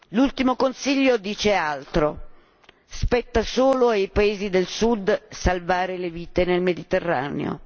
L'ultimo Consiglio dice altro spetta solo ai Paesi del sud salvare le vite nel Mediterraneo.